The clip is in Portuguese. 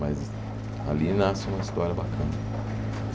Mas ali nasce uma história bacana